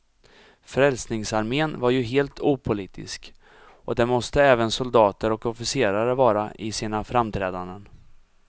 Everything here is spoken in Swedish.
Frälsningsarmén var ju helt opolitisk, och det måste även soldater och officerare vara i sina framträdanden.